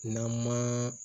N'an ma